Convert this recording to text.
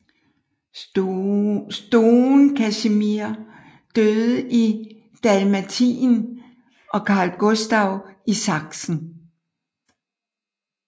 Stone Casimir døde i Dalmatien og Carl Gustaf i Sachsen